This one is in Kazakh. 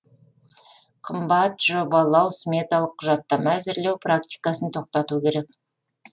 қымбат жобалау сметалық құжаттама әзірлеу практикасын тоқтату керек